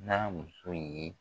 N'a muso ye